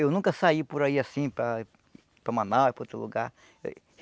Eu sempre trabalhei aqui